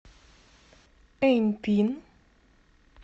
эньпин